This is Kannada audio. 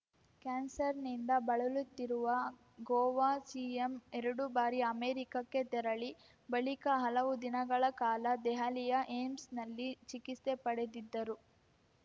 ಕ್ಯಾನ್ಸರ್‌ನಿಂದ ಬಳಲುತ್ತಿರುವ ಗೋವಾ ಸಿಎಂ ಎರಡು ಬಾರಿ ಅಮೆರಿಕಕ್ಕೆ ತೆರಳಿ ಬಳಿಕ ಹಲವು ದಿನಗಳ ಕಾಲ ದೆಹಲಿಯ ಏಮ್ಸ್‌ನಲ್ಲಿ ಚಿಕಿತ್ಸೆ ಪಡೆದಿದ್ದರು